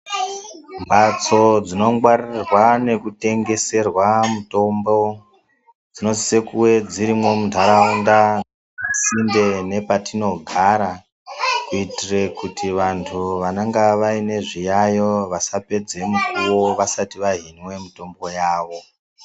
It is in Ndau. Mhatso dzinongwarirwa nekutengeserwa mitombo dzinosisa kunge dzirimwo muntaraunda pasinde nepatinogara kuitire kuti vanhtu vanenge vaine zviyaiyo vasapedza mukuwo vasati vahinwe mitombo yavo.